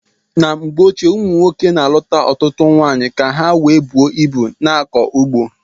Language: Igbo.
N' mgbe ochie umunwoke na aluta ọtụtụ nwaanyị ka ha wee buo ịbu na akọ ugbo..